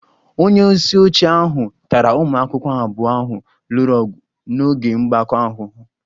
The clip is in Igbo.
Onye isi oche ahụ tara ụmụ akwụkwọ abụọ ahụ lụrụ ọgụ n'oge mgbakọ ahụhụ